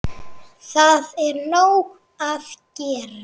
Það er nóg að gera!